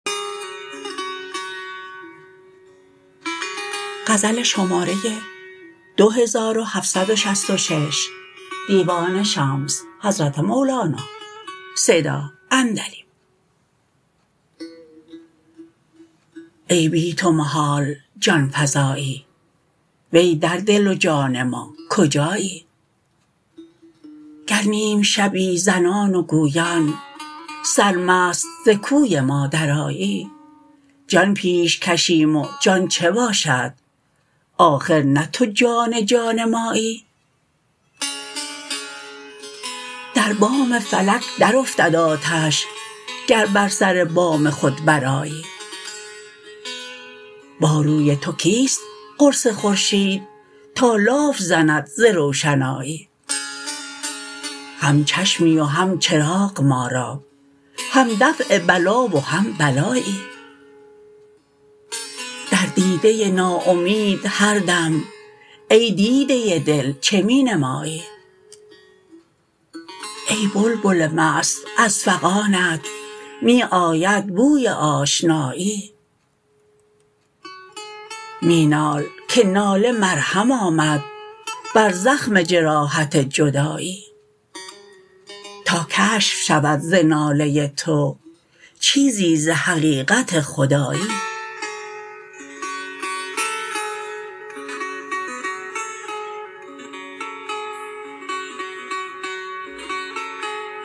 ای بی تو محال جان فزایی وی در دل و جان ما کجایی گر نیم شبی زنان و گویان سرمست ز کوی ما درآیی جان پیش کشیم و جان چه باشد آخر نه تو جان جان مایی در بام فلک درافتد آتش گر بر سر بام خود برآیی با روی تو کیست قرص خورشید تا لاف زند ز روشنایی هم چشمی و هم چراغ ما را هم دفع بلا و هم بلایی در دیده ناامید هر دم ای دیده دل چه می نمایی ای بلبل مست از فغانت می آید بوی آشنایی می نال که ناله مرهم آمد بر زخم جراحت جدایی تا کشف شود ز ناله تو چیزی ز حقیقت خدایی